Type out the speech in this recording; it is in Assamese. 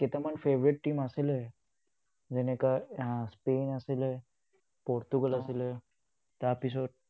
কেইটামান favourite team আছিলে, যেনেকে স্পেইন আছিলে, পৰ্টুগাল আছিলে, তাৰপিছত